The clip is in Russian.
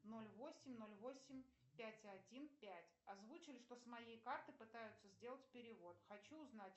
ноль восемь ноль восемь пять один пять озвучили что с моей карты пытаются сделать перевод хочу узнать